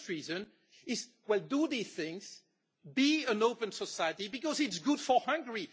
The first reason is do these things, be an open society, because it is good for Hungary.